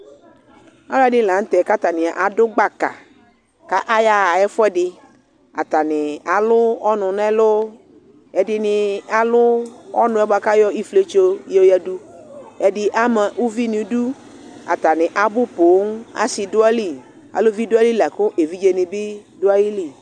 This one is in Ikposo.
alʋɛdi lantɛ kʋ adʋ gbaka ,atani ayaa ɛƒʋɛdi, atani alʋ ɔnʋ nʋ ɛlʋ, ɛdini alʋ ɔnʋ kʋ ayɔ iƒiɛtsɔ yɔ yɛdʋ, ɛdi ama ʋvi nʋ idʋ, atani abʋ pɔɔm, asii dʋ ayili, asii dʋ ayili lakʋ ɛvidzɛ nibi dʋaili